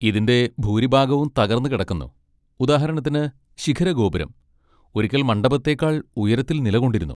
ഇതിന്റെ ഭൂരിഭാഗവും തകർന്നുകിടക്കുന്നു, ഉദാഹരണത്തിന് ശിഖരഗോപുരം, ഒരിക്കൽ മണ്ഡപത്തേക്കാൾ ഉയരത്തിൽ നിലകൊണ്ടിരുന്നു.